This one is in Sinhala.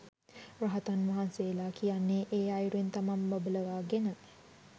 රහතන් වහන්සේලා කියන්නේ ඒ අයුරින් තමන් බබලවාගෙන